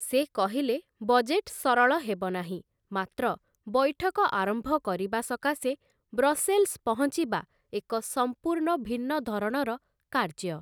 ସେ କହିଲେ, ବଜେଟ୍ ସରଳ ହେବ ନାହିଁ, ମାତ୍ର ବୈଠକ ଆରମ୍ଭ କରିବା ସକାଶେ ବ୍ରସେଲ୍ସ ପହଞ୍ଚିବା ଏକ ସମ୍ପୂର୍ଣ୍ଣ ଭିନ୍ନ ଧରଣର କାର୍ଯ୍ୟ ।